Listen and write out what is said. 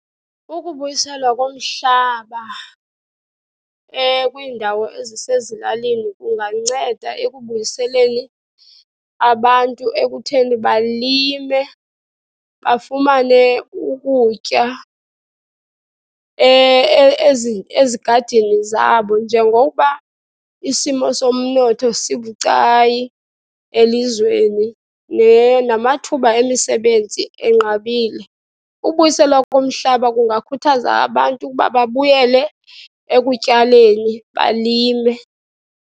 Ukubuyiselwa komhlaba kwiindawo ezisezilalini kunganceda ekubuyiseleni abantu ekutheni balime, bafumane ukutya ezigadini zabo. Njengokuba isimo somnotho sibucayi elizweni namathuba emisebenzi enqabile, ubuyiselwa komhlaba kungakhuthaza abantu ukuba babuyele ekutyaleni, balime.